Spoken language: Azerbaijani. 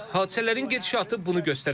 Hadisələrin gedişatı bunu göstərəcək.